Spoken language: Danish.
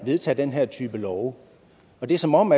vedtage den her type love det er som om